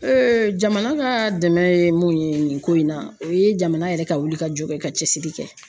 jamana ka dɛmɛ ye mun ye nin ko in na, o ye jamana yɛrɛ ka wuli ka jɔ kɛ ka cɛsiri kɛ.